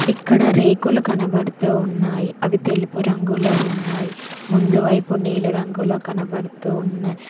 ఇక్కడ రేకులు కనబడుతూ ఉన్నాయి అవి తెలుపు రంగులో ఉన్నాయి ముందు వైపు నీలి రంగులో కనబడుతూ ఉన్న--